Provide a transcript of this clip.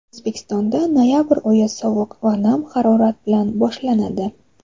O‘zbekistonda noyabr oyi sovuq va nam harorat bilan boshlanadi.